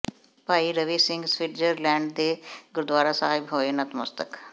ਭਾਈ Ravi Singh Switzerland ਦੇ ਗੁਰਦਵਾਰਾ ਸਾਹਿਬ ਹੋਏ ਨਤਮਸਤਕ